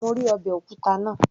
Mo rí ọbẹ̀ òkúta náà